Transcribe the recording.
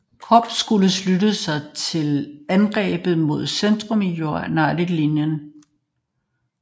Korps skulle slutte sig til angrebet mod centrum af Unionens linje på Cemetery Ridge på et passende tidspunkt